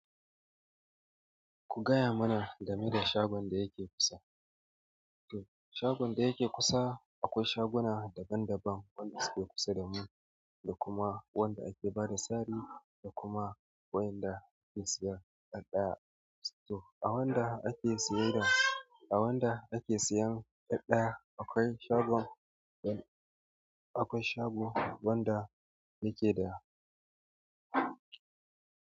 Ku gaya mana game da shagon da yake kusa. Shagon da yake kusa, akwai shaguna daban daban, wanda suke kusa da mu da kuma wanda ake bada sari da kuma wanda ake siyan ɗaɗɗaya. To, a wanda ake siyan ɗaɗɗaya akwai shagon, akwai shagon wanda yake da.